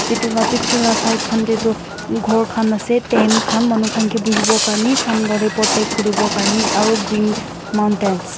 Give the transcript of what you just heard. etu laga picture la side khan tae toh ghor khan ase tent khan manu khan bhuivo karne sun logot protect kurivo karne aru green mountains .